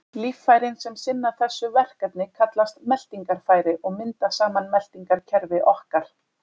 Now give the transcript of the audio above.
Líffærin sem sinna þessu verkefni kallast meltingarfæri og mynda saman meltingarkerfi okkar.